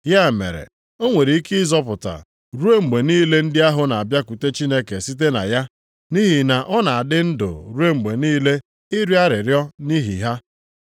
Ya mere o nwere ike ịzọpụta ruo mgbe niile ndị ahụ na-abịakwute Chineke site na ya, nʼihi na ọ na-adị ndụ ruo mgbe niile ịrịọ arịrịọ nʼihi ha.